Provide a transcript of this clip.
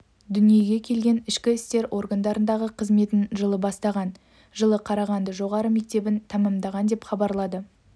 дүниеге келген ішкі істер органдарындағы қызметін жылы бастаған жылы қарағанды жоғары мектебін тәмамдаған деп хабарлады